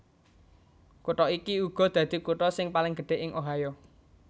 Kutha iki uga dadi kutha sing paling gedhé ing Ohio